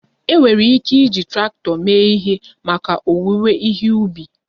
E nwee ike iji traktọ mee ihe maka owuwe ihe ubi